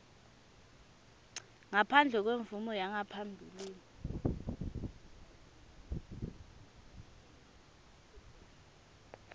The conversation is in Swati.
ngaphandle kwemvumo yangaphambilini